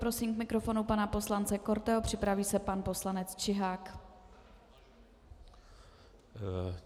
Prosím k mikrofonu pana poslance Korteho, připraví se pan poslanec Čihák.